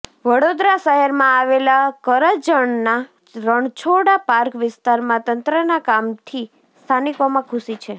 વડોદરા શહેરમાં આવેલા કરજણના રણછોડા પાર્ક વિસ્તારમાં તંત્રના કામથી સ્થાનિકોમાં ખુશી છે